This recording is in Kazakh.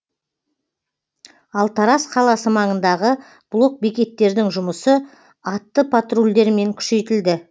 ал тараз қаласы маңындағы блок бекеттердің жұмысы атты патрульдермен күшейтілді